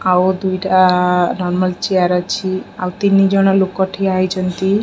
ଆଉ ଦୁଇଟା ଆ ନର୍ମାଲ ଚେୟାର ଅଛି ଆଉ ତିନି ଜଣ ଲୋକ ଠିଆ ହୋଇଚନ୍ତି।